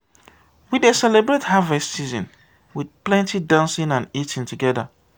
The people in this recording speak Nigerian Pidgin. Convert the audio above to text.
we dey celebrate harvest season with plenty dancing and eating together.